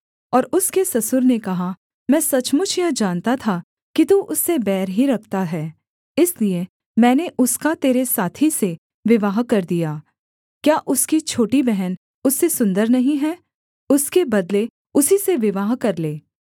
और उसके ससुर ने कहा मैं सचमुच यह जानता था कि तू उससे बैर ही रखता है इसलिए मैंने उसका तेरे साथी से विवाह कर दिया क्या उसकी छोटी बहन उससे सुन्दर नहीं है उसके बदले उसी से विवाह कर ले